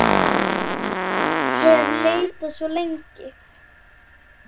hef leitað svo lengi.